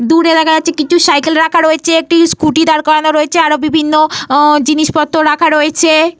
দূরে দেখা যাচ্ছে কিছু সাইকেল রাখা রয়েছে। একটি স্কোটি দাঁড় করানো রয়েছে। আরো বিভিন্ন জিনিসপত্র রাখা রয়েছে।